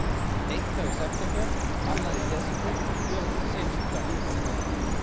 Eitt þá í september, annað í desember og tvö núna seinustu daga.